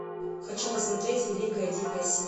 хочу посмотреть великая дикая